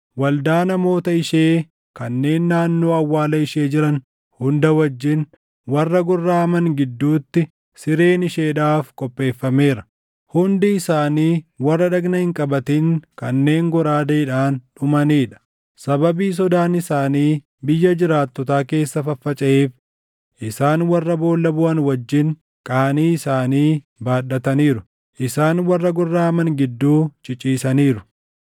Waldaa namoota ishee kanneen naannoo awwaala ishee jiran hunda wajjin warra gorraʼaman gidduutti sireen isheedhaaf qopheeffameera. Hundi isaanii warra dhagna hin qabatin kanneen goraadeen dhumanii dha. Sababii sodaan isaanii biyya jiraattotaa keessa faffacaʼeef, isaan warra boolla buʼan wajjin qaanii isaanii baadhataniiru; isaan warra gorraʼaman gidduu ciciisaniiru.